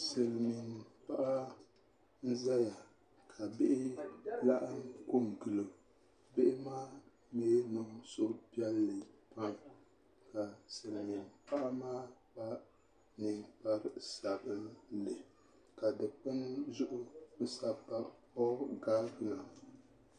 Silmiin paɣa n ʒɛya ka bihi laɣam ko n gilo bihi maa niŋ suhupiɛlli pam ka silmiin paɣa maa yɛ liiga sabinlika Dikpuni zuɣu bi sabi pa puuo gavina